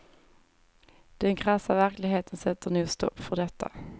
Den krassa verkligheten sätter nog stopp för detta.